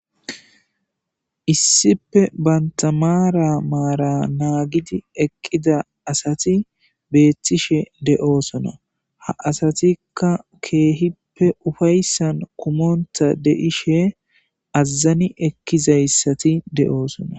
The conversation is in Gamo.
issipe banta maara maara naagidi eqqida asati beettishe de'osona ha asatikka keehippe ufayssan kumonta deishe azazani ekkizayssati de'osona